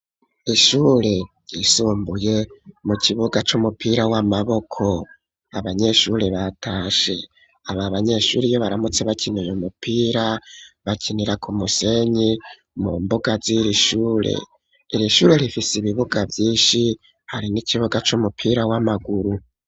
Ishure ryisumbuye mu kibuga c'umupira w'amaboko abanyeshure batashe aba banyeshuri iyo baramutse bakina uyu mupira bakinira ku musenyi mu mbuga z'irishure irishure rifise ibibuga vyinshi hari n'ikibuga c'umupira w'amaguru.